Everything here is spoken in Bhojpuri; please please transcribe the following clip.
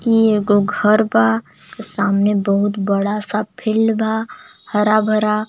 इ एगो घर बा सामने बहुत बड़ा सा फील्ड बा हरा भरा.